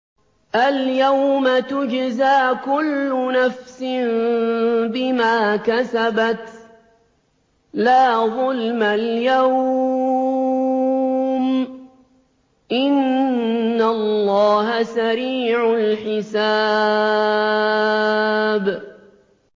الْيَوْمَ تُجْزَىٰ كُلُّ نَفْسٍ بِمَا كَسَبَتْ ۚ لَا ظُلْمَ الْيَوْمَ ۚ إِنَّ اللَّهَ سَرِيعُ الْحِسَابِ